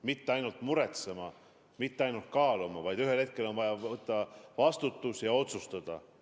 Mitte ainult muretsema, mitte ainult kaaluma, vaid ühel hetkel on vaja võtta vastutus ja otsustada.